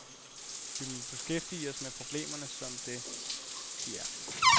Vi må beskæftige os med problemerne som det, de er.